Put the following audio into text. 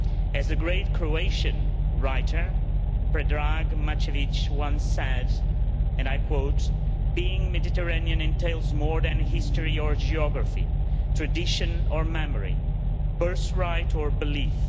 As the great Croatian writer Predrag Matvejević once said, and I quote Being Mediterranean entails more than history or geography, tradition or memory, birth right or belief.